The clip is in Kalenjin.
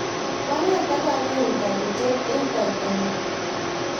koang'et akanyoru toritye eng' kaitanyu